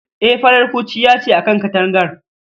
E, farar kurciya ce a kan katangar